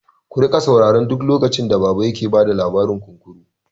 Ku riƙa saurara duk lokacin da baba yake bada labarin kunkuru!